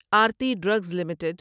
Aarti drugs limited